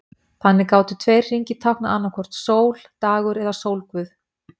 Þannig gátu tveir hringir táknað annaðhvort sól, dagur eða sólguð.